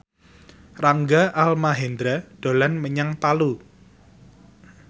Rangga Almahendra dolan menyang Palu